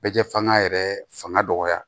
Bɛ jɛ fanga yɛrɛ fanga dɔgɔya